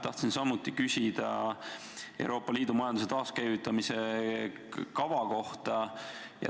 Tahtsin samuti küsida Euroopa Liidu majanduse taaskäivitamise kava kohta.